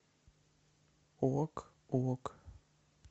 ок ок